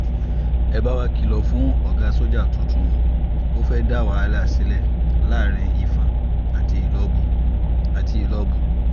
ẹ bá wa kìlọ̀ fún ọ̀gá sójà tuntun o ò fẹ́ẹ̀ dá wàhálà sílẹ̀ láàrin ìfọ̀n àti ìlọ́bù àti ìlọ́bù